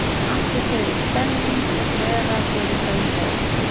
Atli segir mikil stemning vera fyrir þeim leik.